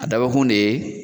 A dabɔkun de ye